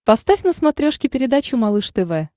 поставь на смотрешке передачу малыш тв